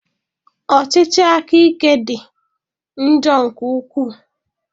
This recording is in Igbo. Ọchịchị akaike dị njọ nke ukwu.